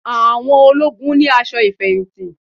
Àwọn ológun ni aṣọ ìfẹ̀yìntì